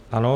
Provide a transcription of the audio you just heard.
Ano.